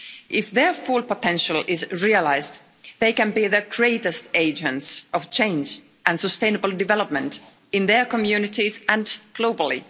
If their full potential is realised, they can be the greatest agents of change and sustainable development in their communities and globally.